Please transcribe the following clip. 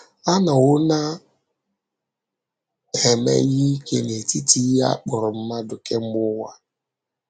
A nọwo na - eme ihe ike n’etiti ihe a kpọrọ mmadụ kemgbe ụwa.